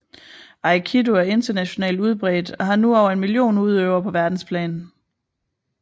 Aikido er internationalt udbredt og har nu over en million udøvere på verdensplan